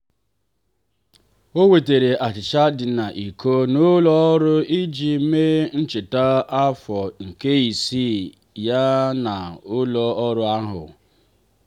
o wetara achicha dị n'iko n ụlọ ọrụ iji mee ncheta afọ nke ise ya na ụlọ ọrụ ahụ.